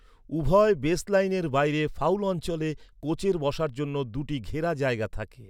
উভয় বেসলাইনের বাইরে ফাউল অঞ্চলে কোচের বসার জন্য দুটি ঘেরা জায়গা থাকে।